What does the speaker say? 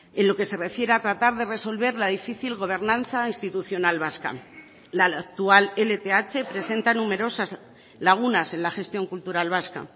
en lo que se refiere a tratar de resolver la difícil gobernanza institucional vasca la actual lth presenta numerosas lagunas en la gestión cultural vasca